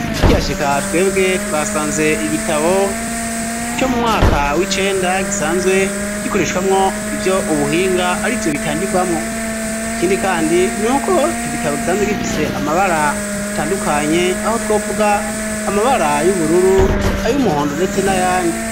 Tukihashika twebwe twasanze igitabo co mu mwaka w'icenda gisanzwe gikoreshwamwo ivyo ubuhinga arivyo bitangirwamwo ikindi kandi nuko ico gitabo gisanzwe gifise amabara atandukanye aho twovuga amabara y'ubururu ayumuhondo ndetse na yandi.